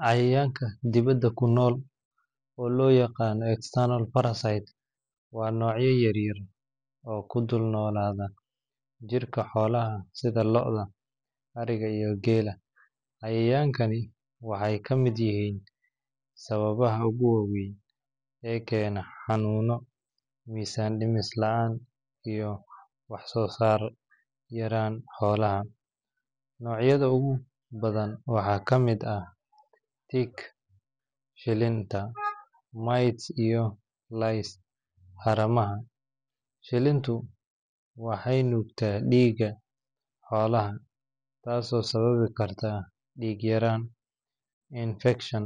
Cayayaanka dibadda ku nool, oo loo yaqaan external parasites, waa noocyo yar-yar oo ku dul-noolaada jirka xoolaha sida lo’da, ariga, iyo geela. Cayayaankani waxay ka mid yihiin sababaha ugu waaweyn ee keena xanuuno, miisaan dhis la’aan, iyo wax-soo-saar yaraanta xoolaha. Noocyada ugu badan waxaa ka mid ah ticks (shilinta), mites, iyo lice (haramaha). Shilintu waxay nuugtaa dhiigga xoolaha, taasoo sababi karta dhiig-yaraan, infekshan,